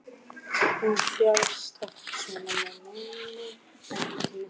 Hún fjasi oft svona en meini ekkert með því.